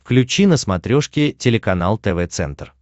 включи на смотрешке телеканал тв центр